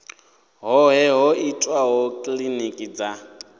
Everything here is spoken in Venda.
hoṱhe ho itwaho kilinikini dza